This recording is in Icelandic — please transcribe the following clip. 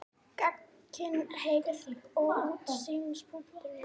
Gagnkynhneigð var því útgangspunktur hennar.